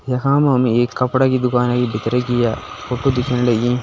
यखम हमें एक कपडा की दुकान दिखरि की है फोटो दिख्यण लगीं।